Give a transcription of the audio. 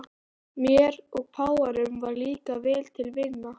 Mér og páfanum varð líka vel til vina.